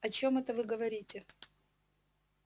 о чём это вы говорите